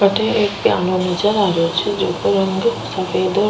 अठे एक पियानो नजर आ रो छे जेको रंग सफेद --